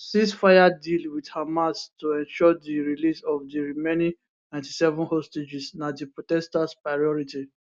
ceasefire deal wit hamas to ensure di release of di remaining 97 hostages na di protesters priority